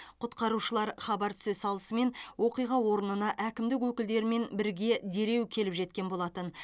құтқарушылар хабар түсе салысымен оқиға орнына әкімдік өкілдерімен бірге дереу келіп жеткен болатын